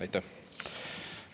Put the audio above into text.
Aitäh!